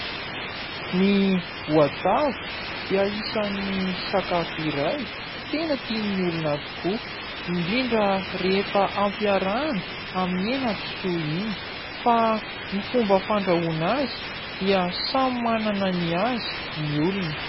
Ny voatavo dia isan'ny sakafo iray tena tian'ny olona tokoa, indrindra rehefa ampiarahana amin'ny henakisoa iny. Fa ny fomba fandrahoana azy dia samy manana ny azy ny olona.